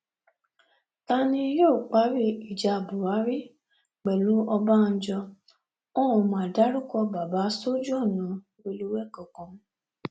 ta ni yóò parí ìjà buhari pẹlú ọbànjọ wọn ó ma dárúkọ bàbà sójú ọnà rélùwé kankan